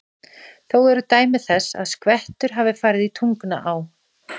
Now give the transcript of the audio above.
Þó eru dæmi þess, að skvettur hafa farið í Tungnaá.